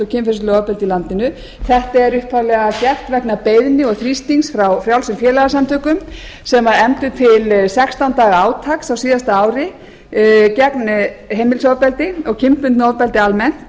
kynferðislegu ofbeldi í landinu þetta er upphaflega gert vegna beiðni og þrýstings frá frjálsum félagasamtökum sem efndu til sextán daga átaks á síðasta ári gegn heimilisofbeldi og kynbundnu ofbeldi almennt